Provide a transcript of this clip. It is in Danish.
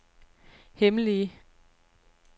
hemmelige